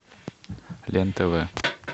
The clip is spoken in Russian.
лен тв